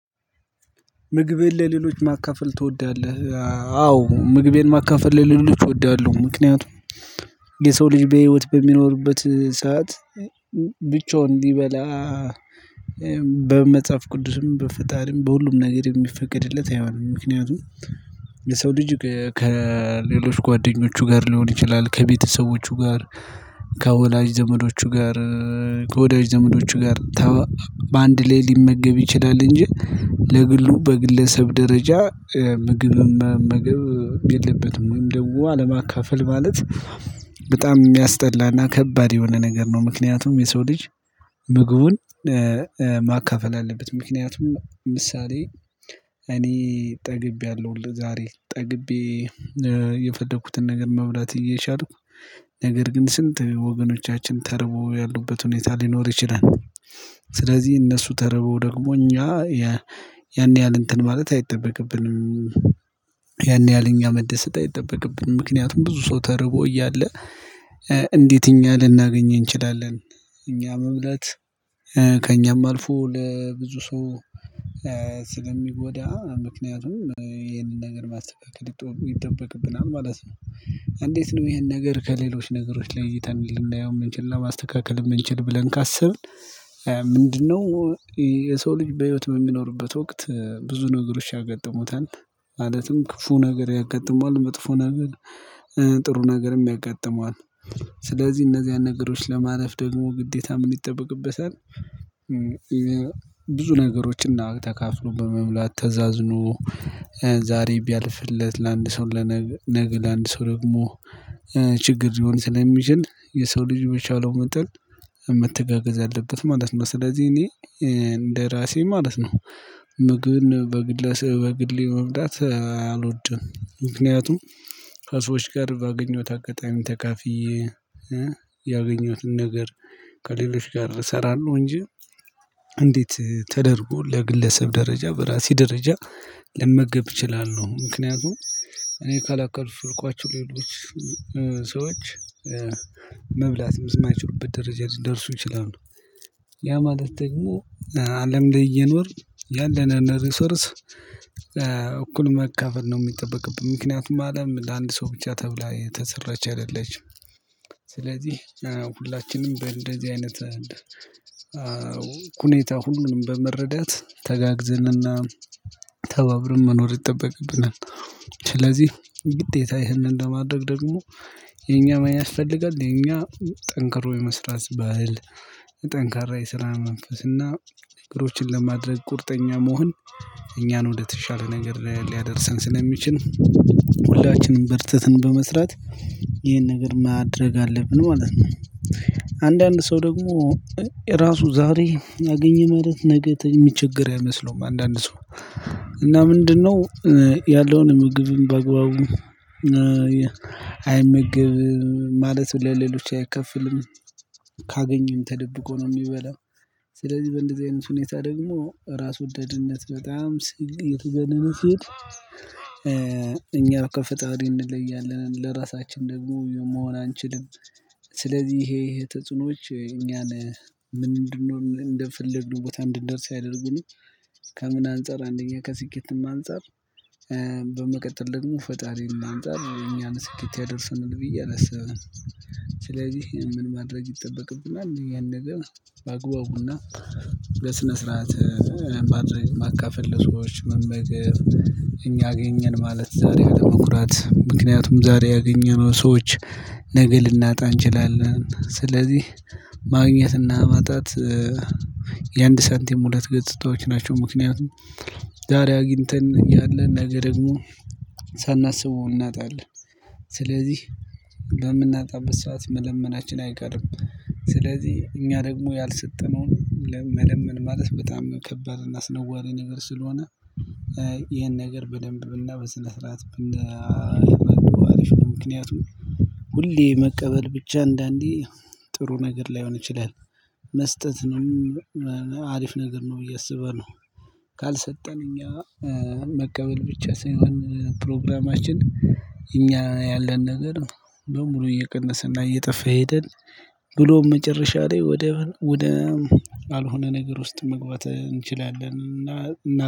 ምግቤን ለሌሎች ማካፈል ትወዳለህ? አዎ ምግቤን ማካፈል ልል እወዳለሁ። ምክንያቱም የሰው ልጅ በህይወት በሚኖሩበት ሰዓት ብቻውን እንዲበላ። በመጽሐፍ ቅዱስም በፈጣሪም በሁሉም ነገር የሚፈቅድለት አይሆንም። ምክንያቱም የሰው ልጅ ከሌሎች ጓደኞቹ ጋር ሊሆን ይችላል። ከቤተሰቦቹ ጋር ከወላጅ ዘመዶቹ ጋር ከወዳጅ ዘመዶቹ ጋር በአንድ ላይ ሊመገብ ይችላል። እንጂ ለግሉ በግለሰብ ደረጃ ምግብ መመገብ የለበትም። ወይም ደሞ አለማካፈል ማለት በጣም የሚያስጠላና ከባድ የሆነ ነገር ነው። ምክንያቱም የሰው ልጅ ምግቡን ማካፈል አለበት። ምክንያቱም ምሳሌ እኔ ጠግቤያለሁ ዛሬ ጠግቤ የፈለኩትን ነገር መብላት እየቻልኩ ነገር ግን ስንት ወገኖቻችን ተርቦ ያሉበት ሁኔታ ሊኖር ይችላል። ስለዚህ እነሱ ተርበው ደግሞ እኛ ያን ያህል እንትን ማለት አይጠበቅብንም። ያን ያህል እኛ መደሰት አይጠበቅብንም። ምክንያቱም ብዙ ሰው ተርቦ እያለ እንዴት እኛ ልናገኝ እንችላለን? እኛ መብላት ከእኛም አልፎ ለብዙ ሰው ስለሚጎዳ ምክንያቱም ይሄንን ነገር ማስጠበቅ ይጠበቅብናል ማለት ነው። እንዴት ነው ይሄን ነገር ከሌሎች ነገሮች ለይተን ልናየው የምንችልና ማስተካከል የምንችል ብለን ካሰብን? ምንድነው? የሰው ልጅ በህይወት በሚኖርበት ወቅት ብዙ ነገሮች ያገጠሙታል። ማለትም ክፉ ነገር ያጋጥማል መጥፎ ነው። ጥሩ ነገርም ያጋጥመዋል። ስለዚህ እነዚህን ነገሮች ለማለፍ ደግሞ ግዴታ ምን ይጠበቅበታል? ብዙ ነገሮችና ተካፍሎ በመሙላት ተዛዝኖ ዛሬ ቢያልፍለት ለአንድ ሰው ለነገ ለነገ ለአንድ ሰው ደግሞ ችግር ሊሆን ስለሚችል የሰው ልጅ በቻለው መጠን መተጋገዝ አለበት ማለት ነው። ስለዚህ እኔ እንደራሴ ማለት ነው። ምግብን በግሌ መብላት አልወድም። ምክንያቱም ከሰዎች ጋር ባገኘሁት አጋጣሚ ተካፍየ ያገኘሁትን ነገር ከሌሎች ጋር እሰራለሁ እንጂ። እንዴት ተደርጎ ለግለሰብ ደረጃ በራሴ ደረጃ ለመገብ እችላለሁ ምክንያቱም? እኔ ካላከሉኝ የሄዱት ሌሎች ሰዎች መብላት የማይችሉበት ደረጃ ሊደርሱ ይችላሉ። ያ ማለት ደግሞ አለም ለየኖር እየኖር ያለነን ሪሶርስ እኩል መካፈል ነው የሚጠበቅብኝ ምክንያቱም አለም ለአንድ ሰው ብቻ ተብላ የተሰራች አይደለችም። ስለዚህ ሁላችንም እንደዚህ አይነት ሁኔታ ሁሉንም በመረዳት ተጋግዘንና ተባብርን መኖር ይጠበቅብናል። ስለዚህ ግዴታ ይህንን ለማድረግ ደግሞ የኛ ማያስፈልጋል የኛ ጠንክሮ የመስራት ባህል ጠንካራ የስራ መንፈስና እግሮችን ለማድረግ ቁርጠኛ መሆን እኛን ወደተሻለ ነገር ሊያደርሰን ስለሚችል። ሁላችንም በርተትን በመስራት ይህን ነገር ማድረግ አለብን ማለት ነው። አንዳንድ ሰው ደግሞ ራሱ ዛሬ አገኘ ማለት ነገር የሚቸግር አይመስለውም። አንዳንድ ሰው እና ምንድነው? ያለውን ምግብ በግባው አይመገብም ማለት ለሌሎች አይከፍልም። ካገኘን ተደብቆ ነው የሚበላው። ስለዚህ በእንደዚህ አይነት ሁኔታ ደግሞ ራስ ወዳድነት በጣም ስግ የት? የት እኛ ከፍጣሪ እንለያለን ለራሳችን ደግሞ መሆን አንችልም። ስለዚህ ይሄ የተጽኖዎች እኛ ነህ ምንድነው? እንደፈለግን ቦታ እንድንደርስ ያደርጉን። ከምን አንፃር አንደኛ ከስኬትም አንፃር በመቀጠል ደግሞ ፈጣሪም ማንጣት ወይ እኛን ስኬት ያደርሰናል ብዬ አላስብም። ስለዚህ ምን ማድረግ ይጠበቅብናል? ያን ነገር በአግባቡና በስነ ስርዓት ማድረግ ማካፈል ለሰዎች በግ እኛ አገኘን ማለት ዛሬ አይደለም። ቁራት ምክንያቱም ዛሬ ያገኘነው ሰዎች ነገ ልናጣ እንችላለን። ስለዚህ ማግኘትና መጣት የአንድ ሰንቲም ሁለት ገጽታዎች ናቸው። ምክንያቱም ዛሬ አግኝተን ያለን ነገር ደግሞ ሳናስበው እናጣለን። ስለዚህ በምናጣበት ሰዓት መለመናችን አይቀርም። ስለዚህ እኛ ደግሞ ያልሰጠነውን መለመን ማለት በጣም ከበርና ስነዋሪ ነገር ስለሆነ። ይሄን ነገር በደንብ ብልና በስነ ስርዓት ብልና አሪፍ ነው። ምክንያቱም ሁሌ መቀበል ብቻ አንዳንዴ ጥሩ ነገር ላይሆን ይችላል። መስጠት ነው አሪፍ ነገር ነው ብዬ አስበህ ነው። ካልሰጠን እኛ መቀበል ብቻ ሳይሆን ፕሮግራማችን እኛ ያለን ነገር በሙሉ እየቀነሰና እየጠፋ ሄደን ብሎ መጨረሻ ላይ ወደ ወደ አልሆነ ነገር ውስጥ መግባት እንችላለን። እና